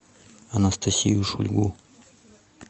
анастасию шульгу